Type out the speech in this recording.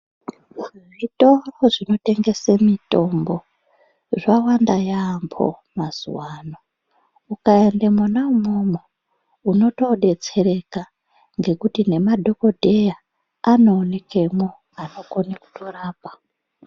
Zvitoro zvinotengese mitombo, zvawanda yaampho mazuwaano. Ukaende mwona umwomwo, unotoodetsereka ngekuti nemadhokodheya anoonekemwo anokone kutorapa.